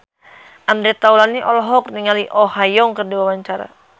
Andre Taulany olohok ningali Oh Ha Young keur diwawancara